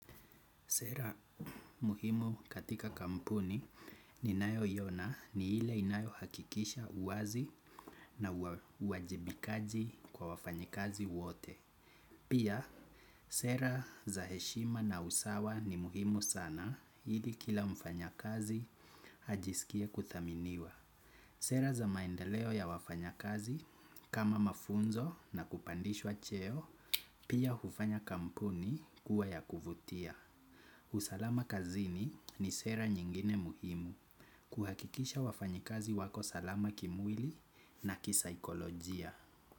Sera muhimu katika kampuni ninayoiona ni ile inayo hakikisha uwazi na uwajibikaji kwa wafanyakazi wote. Pia, sera za heshima na usawa ni muhimu sana ili kila mfanyakazi ajisikie kuthaminiwa. Sera za maendeleo ya wafanyakazi kama mafunzo na kupandishwa cheo, pia hufanya kampuni kuwa ya kuvutia. Usalama kazini ni sera nyingine muhimu kuhakikisha wafanyakazi wako salama kimwili na kisaikolojia.